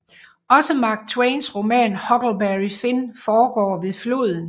Også Mark Twains roman Huckleberry Finn foregår ved floden